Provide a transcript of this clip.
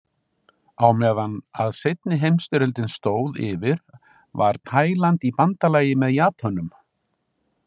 Á meðan að seinni heimsstyrjöldin stóð yfir, var Taíland í bandalagi með Japönum.